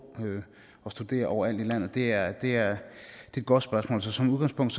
og studere overalt i landet det er et godt spørgsmål så som udgangspunkt